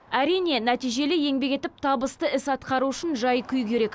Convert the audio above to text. әрине нәтижелі еңбек етіп табысты іс атқару үшін жай күй керек